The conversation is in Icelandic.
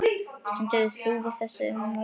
Stendur þú við þessi ummæli?